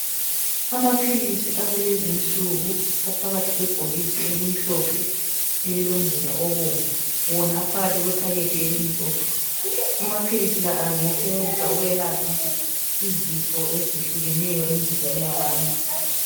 Amaphilisi akulezinsuku , aphakathi kwebhokisi elimhlophe elilomzila obomvu. Wona aphakathi kwephakethe elimhlophe, amaphilisi la angasetshenziswa ukuyelapha izifo eziyehlukeneyo emizimbeni yabantu.